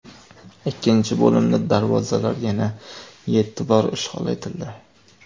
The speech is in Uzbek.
Ikkinchi bo‘limda darvozalar yana yetti bor ishg‘ol etildi.